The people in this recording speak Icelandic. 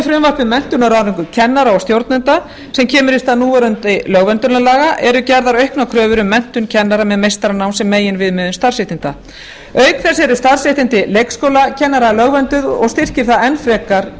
menntun og ráðningu kennara og stjórnenda sem kemur í stað núverandi lögverndunarlaga eru gerðar auknar kröfur um menntun kennara með meistaranám sem meginviðmiðun starfsréttinda auk þess eru starfsréttindi leikskólakennara lögvernduð og styrkir það enn frekar